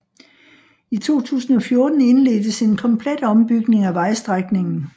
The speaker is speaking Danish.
I 2014 indledtes en komplet ombygning af vejstrækningen